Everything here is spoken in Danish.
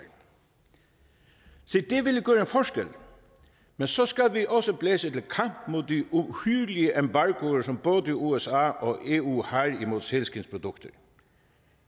en forskel men så skal vi også blæse til kamp mod de uhyrlige embargoer som både usa og eu har mod sælskindsprodukter